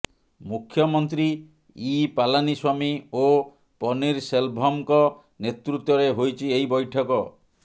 ମୁଖ୍ୟମନ୍ତ୍ରୀ ଇ ପାଲାନୀସ୍ୱାମୀ ଓ ପନୀରସେଲଭମଙ୍କ ନେତୃତ୍ୱରେ ହୋଇଛି ଏହି ବୈଠକ